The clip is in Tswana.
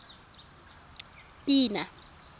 pina